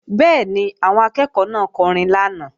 Bẹ́ẹ̀ni, àwọn akẹ́ẹ̀kọ́ náà kọrin lánàá